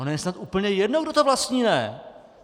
Ono je snad úplně jedno, kdo to vlastní, ne?